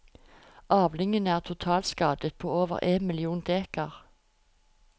Avlingen er totalskadet på over én million dekar.